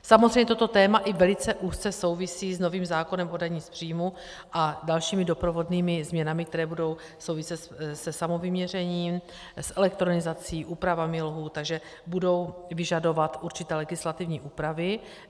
Samozřejmě toto téma i velice úzce souvisí s novým zákonem o dani z příjmu a dalšími doprovodnými změnami, které budou souviset se samovyměřením, s elektronizací, úpravami lhůt, takže budou vyžadovat určité legislativní úpravy.